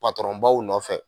patɔrɔnbaw nɔfɛ